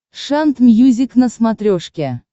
шант мьюзик на смотрешке